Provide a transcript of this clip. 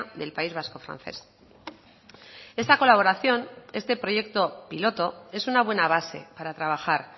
del país vasco francés esta colaboración este proyecto piloto es una buena base para trabajar